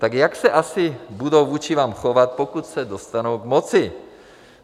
Tak jak se asi budou vůči vám chovat, pokud se dostanou k moci?